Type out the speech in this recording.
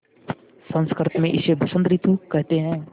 संस्कृत मे इसे बसंत रितु केहेते है